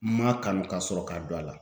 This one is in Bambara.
N ma kanu ka sɔrɔ ka don a la.